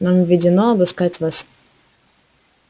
нам ведено обыскать вас